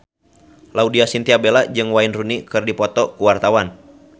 Laudya Chintya Bella jeung Wayne Rooney keur dipoto ku wartawan